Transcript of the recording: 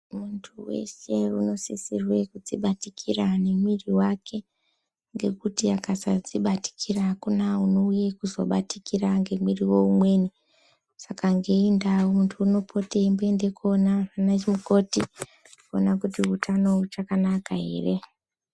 Muntu weshe unosisirwe kudzibatikira nemwiri wake, ngekuti akasadzibatikira hakuna unouye kuzobatikira ngemwiri weumweni. Saka ngeiyi ndau muntu unopota eimboende koona vanamukoti kuona kuti utano huchakanaka here.